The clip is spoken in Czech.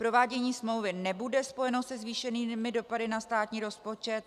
Provádění smlouvy nebude spojeno se zvýšenými dopady na státní rozpočet.